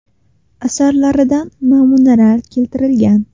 Asarlaridan namunalar keltirilgan.